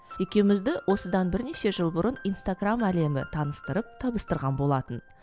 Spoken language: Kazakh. екеумізді осыдан бірнеше жыл бұрын инстаграмм әлемі таныстырып табыстырған болатын